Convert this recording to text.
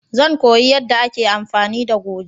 Zan koya yanda a ke amfani da goje